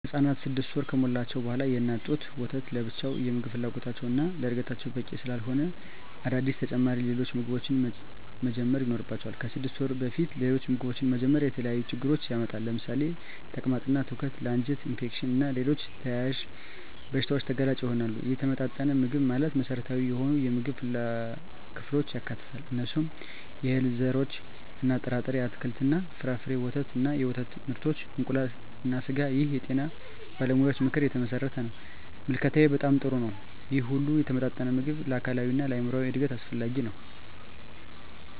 ህፃናት 6 ወር ከሞላቸው በዋላ የእናት ጡት ወተት ለብቻው የምግብ ፍላጎታቸውን እና ለዕድገታቸው በቂ ስላለሆነ አዳዲስ ተጨማሪ ሌሎች ምግቦችን መጀመር ይኖርባቸዋል። ከ6 ወር በፊት ሌሎች ምግቦችን መጀመር የተለያዩ ችግሮችን ያመጣል ለምሳሌ ተቅማጥ እና ትውከት ለ አንጀት ኢንፌክሽን እና ሌሎች ተያያዝ በሺታዎች ተጋላጭ ይሆናሉ። የተመጣጠነ ምግብ ማለት መሰረታዊ የሆኑ የምግብ ክፍሎችን ያካትታል። እነሱም፦ የእህል ዘርሮች እና ጥርጣሬ፣ አትክልት እና ፍራፍሬ፣ ወተት እና የወተት ምርቶች፣ እንቁላል እና ስጋ ይህ የጤና ባለሙያዎች ምክር የተመሠረተ ነው። ምልከታዬ በጣም ጥሩ ነው ይህ ሁሉ የተመጣጠነ ምግብ ለአካላዊ እና ለአይምራዊ እድገት አስፈላጊ ነው።